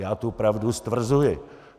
Já tu pravdu stvrzuji.